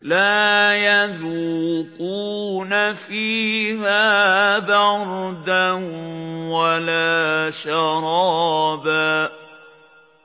لَّا يَذُوقُونَ فِيهَا بَرْدًا وَلَا شَرَابًا